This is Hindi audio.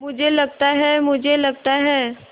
मुझे लगता है मुझे लगता है